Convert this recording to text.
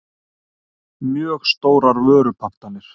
mjög stórar vörupantanir.